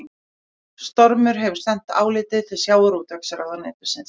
Stormur hefur sent álitið til sjávarútvegsráðuneytisins